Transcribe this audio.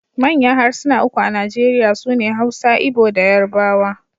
Manyan harsuna uku a Najeriya su ne Hausa, Igbo da Yarbawa.